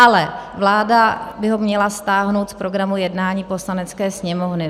Ale vláda by ho měla stáhnout z programu jednání Poslanecké sněmovny.